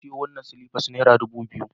Na sayo wannan silifan naira dubu biyu